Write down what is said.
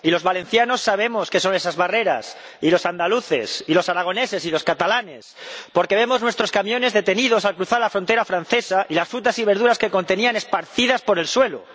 Y los valencianos sabemos qué son esas barreras, y los andaluces y los aragoneses y los catalanes, porque vemos nuestros camiones detenidos al cruzar la frontera francesa y las frutas y verduras que contenían esparcidas por el suelo.